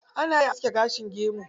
Ana iya aske gashin gemu.